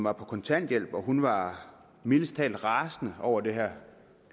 er på kontanthjælp og hun var mildest taget rasende over det her